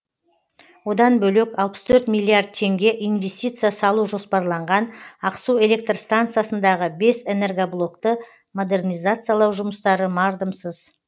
одан бөлек алпыс торт миллиард теңге инвестиция салу жоспарланған ақсу электр станциясындағы бес энергоблокты модернизациялау жұмыстары мардымсыз